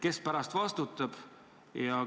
Kes pärast vastutab?